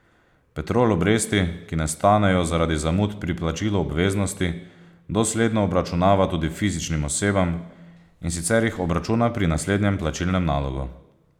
Petrol obresti, ki nastanejo zaradi zamud pri plačilu obveznosti, dosledno obračunava tudi fizičnim osebam, in sicer jih obračuna pri naslednjem plačilnem nalogu.